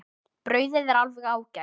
Brauðið er alveg ágætt.